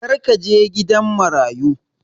Kar ka je gidan marayu!